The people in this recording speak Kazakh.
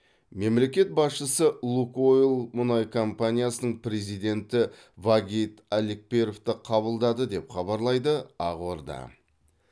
мемлекет басшысы лукойл мұнай компаниясының президенті вагит алекперовті қабылдады деп хабарлайды ақорда